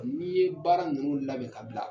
n'i ye baara ninnu labɛn ka bila.